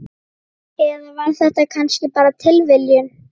Eða var þetta kannski bara tilviljun?